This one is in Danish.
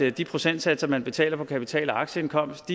at de procentsatser man betaler for kapital og aktieindkomst